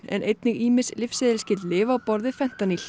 en einnig ýmis lyfseðilsskyld lyf á borð við